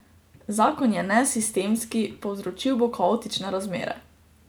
Zakon je nesistemski, povzročil bo kaotične razmere.